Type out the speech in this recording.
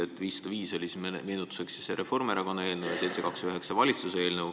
Too 505 SE oli siis Reformierakonna eelnõu ja 729 valitsuse eelnõu.